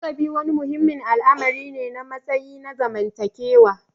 Lakabi wani muhimmin al'amari ne na matsayi na zamantakewa.